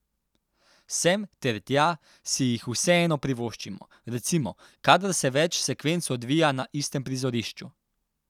Sem ter tja si jih vseeno privoščimo, recimo, kadar se več sekvenc odvija na istem prizorišču.